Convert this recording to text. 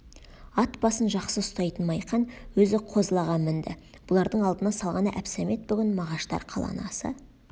ат басын жақсы ұстайтын майқан өзі козлаға мінді бұлардың алдына салғаны әбсәмет бүгін мағаштар қаланы аса